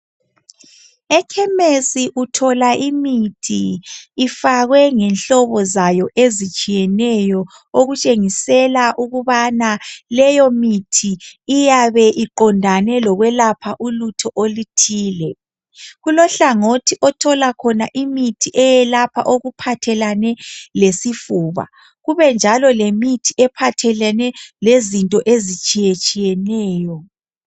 Ekhemesi uthola imithi ifakwe ngenhlobo zabo ezitshiyeneyo okutshengisela ukubana leyo mithi iyabe iqondane lokwelapha ulutho oluthile kulohlangothi othola khona imithi eyelapha okuphathelane lesifuba kubenjalo lemithi ephathelane leznto ezitshiyatshiyeneyo.